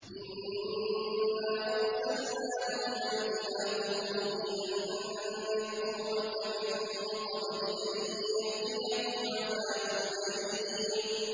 إِنَّا أَرْسَلْنَا نُوحًا إِلَىٰ قَوْمِهِ أَنْ أَنذِرْ قَوْمَكَ مِن قَبْلِ أَن يَأْتِيَهُمْ عَذَابٌ أَلِيمٌ